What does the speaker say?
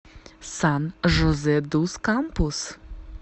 сан жозе дус кампус